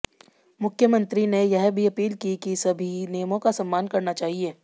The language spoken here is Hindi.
मुख्यमंत्री ने यह भी अपील की कि सभी नियमों का सम्मान करना चाहिए